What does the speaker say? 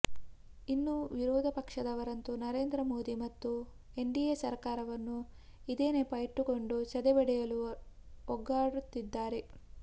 ಇನ್ನು ವಿರೋಧಪಕ್ಷದವರಂತೂ ನರೇಂದ್ರ ಮೋದಿ ಮತ್ತು ಎನ್ಡಿಎ ಸರಕಾರವನ್ನು ಇದೇ ನೆಪ ಇಟ್ಟುಕೊಂಡು ಸದೆಬಡಿಯಲು ಒಗ್ಗಟ್ಟಾಗುತ್ತಿದ್ದಾರೆ